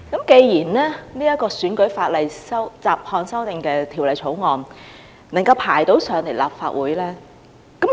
既然《2019年選舉法例條例草案》能夠提交立法會，